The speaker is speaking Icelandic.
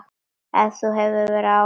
Ef þú hefur áhuga.